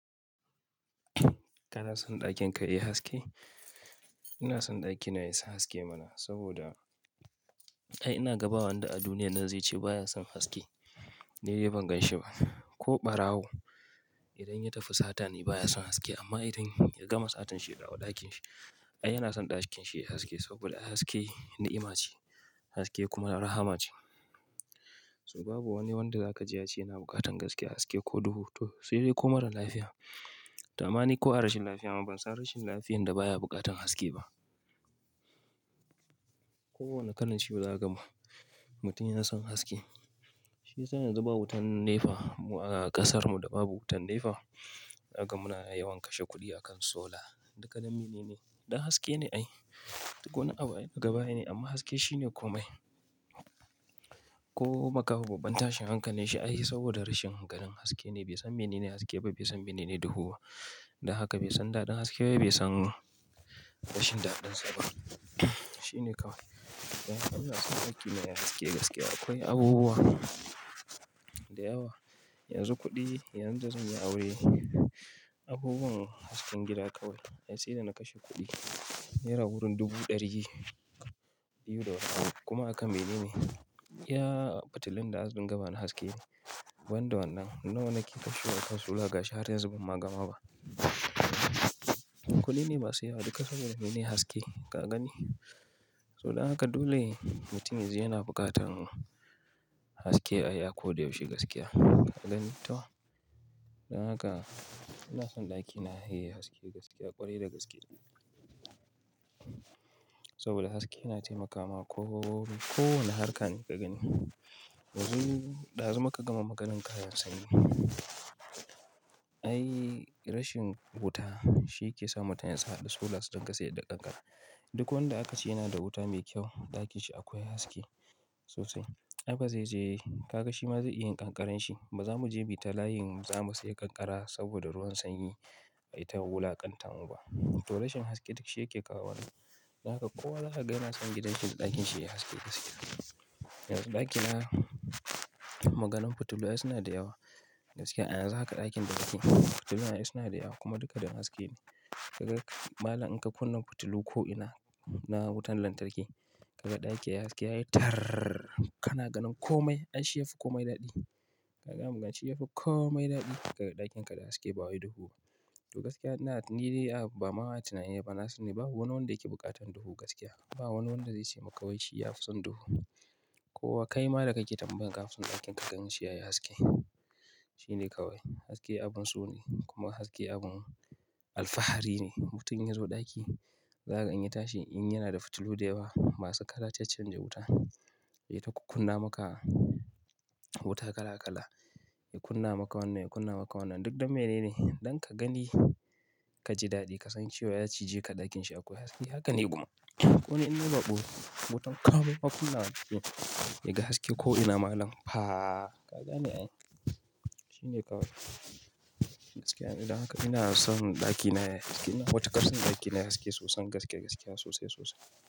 Kana son ɗakin ka yayi haske? Ina son ɗakina yayi haske mana saboda ai ina gaba wanda a duniya nan zai ce baya son haske, ni dai ban ganshi ba. Ko ɓarawo idan ya tafi satani baya son haske amma idan ya gama satan shi ya dawo ɗakin shi, ai yana son ɗakin shi yayi haske saboda haske ni'ima ce, haske kuma rahama ce. So babu wani wanda zaka je ya ce yana bukatan gaskiya haske ko duhu to sai dai ko marar lafiya. To amani ko a rashin lafiya amma ban san rashin lafiyar da baya bukatan haske ba. Kowane kalan ciwo za ka gam mutum ya na son haske. Shi yasa yanzu ba wutan nefa a ƙasar mu da babu wutan nefa. Aga muna yawan kashe kuɗi a kan sola duka don mene ne? Don haske ne ai. Duk wani abu daga baya ne amma haske shine komai. Ko makaho babban tashin hankali shi ayi saboda rashin gadon haske ne bai san mene ne haske ba bai san mene ne duhu ba. Dan haka bai san daɗin haske ba bai san rashin daɗin sa ba. Shine kawai. Ina son ɗakina yayi haske gaskiya akwai abubuwa da yawa. Yanzu kuɗi, yanzu da zan yi aure. Abubuwan hasken gida ƙawai ai sai da na kashe kuɗi naira wurin dubu ɗari biyu da wani abu kuma hakan mene ne? Ya fitilun da hasken gaba na haske. Banda wannan nan wana kifi shi aka sola ga shi hara yanzu ban ma gama ba. Kuɗi ne masu yawa duka saboda mene? Haske ka gani. So dan haka dole mutum yanzu yana bukatan haske ai akoda yaushe gaskiya. Dan haka ina son ɗakina yayi haske gaskiya ƙwarai da gaskiya. Saboda haske yana taimakawa ko, kowane harka ne ka gani. Yanzu, dazu muka gama maganan kayan sanyi. Ai rashin wuta shi ke sa mutum ya isa a haɗa sola sai dai ƙanƙara. Duk wanda aka ce yana da wuta mai kyau ɗakin shi akwai haske sosai. Ai bazai je ka ga shi ma zai iya ƙanƙararanshi ba. Ba za mu je mu yita layin zamu sayi ƙanƙara saboda ruwan sanyi ai ta wula ƙan ta mu ba. To rashin haske duk shi yake kawo wannan. Dan haka kowa zaka gani yana son gidan shi da ɗakin shi yayi haske gaskiya. Yanzu ɗakina maganan fitilu ai suna da yawa gaskiya. Ai yanzu haka ɗakin da ɗaki fitilu ai suna da yawa kuma duka don haske ne. Kaga malam in ka kunna fitilu ko ina na wutan lantarki kaga ɗaki yayi haske yayi tar! Kana ganin komai ai shi yafi komai daɗi. Kaga mugan shi yafi komai daɗi. Kaga ɗakin ka da haske ba wai duhu. To gaskiya ina, ni dai ba ma ina yin ba na sani ba wani wanda yake bukatan duhu gaskiya. Ba wani wanda zai ce maka wai shi yafi son duhu. Kowa kai ma da kake tambaya kafin sun ɗakin ka ganin shi yayi haske. Shine kawai. Haske abun so ne kuma haske abin alfahari ne. Mutum ya zo ɗaki zaka gan shi ya tashi in yana da fitilu da yawa masu kala ta canja wuta. Yayi ta kukkunna maka wuta kala kala. Ya kunna maka wannan ya kunna maka wannan duk don mene ne? Don ka gani ka ji daɗi ka san cewa ya cije ka ɗakin shi akwai haske. Haka ne kuma. Koni innai bako wutan komai ma kunnawa nake yaga haske ko ina malam faaa ka gani ai. Shine kawai. Gaskiya dan haka ina son ɗakina yayi haske. Ina wuce ƙarfin ɗakina yayi haske soson gaskiya gaskiya sosai sosai.